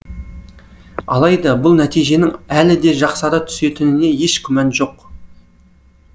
алайда бұл нәтиженің әлі де жақсара түсетініне еш күмән жоқ